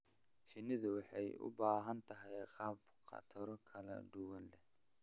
Shinnidu waxay u baahan tahay gabaad khataro kala duwan leh.